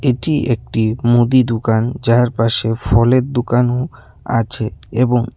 এটি একটি মুদি দুকান যারপাশে ফলের দুকানও আছে এবং--